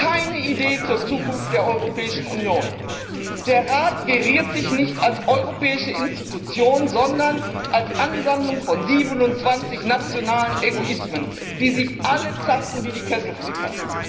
Keine Idee zur Zukunft der Europäischen Union. Der Rat geriert sich nicht als europäische Institution, sondern als Ansammlung von 27 nationalen Egoismen, die sich alle zanken wie die Kesselflicker.